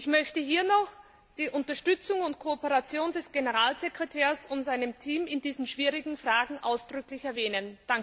Ich möchte hier noch die Unterstützung und Kooperation des Generalsekretärs und seines Teams in diesen schwierigen Fragen ausdrücklich erwähnen.